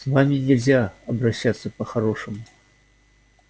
с вами нельзя обращаться по-хорошему